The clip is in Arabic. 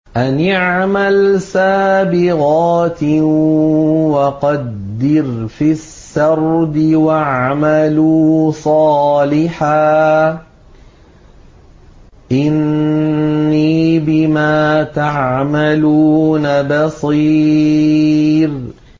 أَنِ اعْمَلْ سَابِغَاتٍ وَقَدِّرْ فِي السَّرْدِ ۖ وَاعْمَلُوا صَالِحًا ۖ إِنِّي بِمَا تَعْمَلُونَ بَصِيرٌ